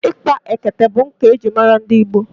Ikpa ekete bụ nkà ejiri mara ndị Igbo.